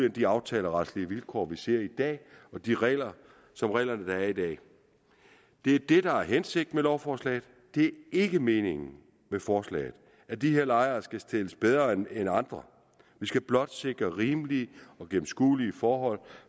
i de aftaleretlige vilkår vi ser i dag og de regler som reglerne der er i dag det er det der er hensigten med lovforslaget det ikke meningen med forslaget at de her lejere skal stilles bedre end andre det skal blot sikre rimelige og gennemskuelige forhold